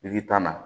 tan na